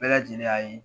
Bɛɛ lajɛlen y'a ye